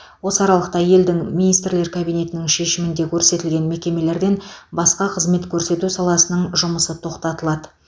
осы аралықта елдің министрлер кабинетінің шешімінде көрсетілген мекемелерден басқа қызмет көрсету саласының жұмысы тоқтатылады